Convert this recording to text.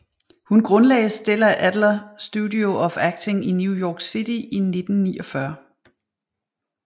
Hun grundlagde Stella Adler Studio of Acting i New York City i 1949